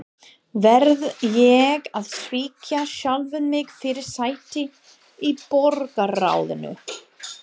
Verð ég að svíkja sjálfan mig fyrir sæti í borgarráðinu?